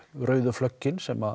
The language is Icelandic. flöggin sem